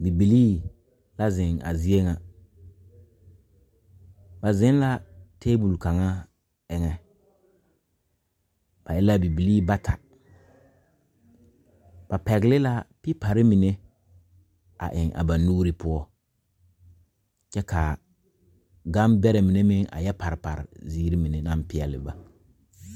Bibilii la zeŋ a zie ŋa ba zeŋ la tabol kaŋa eŋɛ ba e la bibilii bata ba pɛgle la pepari mine a eŋ a ba nuuri poɔ kyɛ ka gambɛrɛ mine meŋ a yɛ pare pare ziiri mine naŋ peɛle ba.